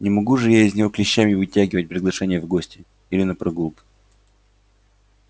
не могу же я из него клещами вытягивать приглашение в гости или на прогулку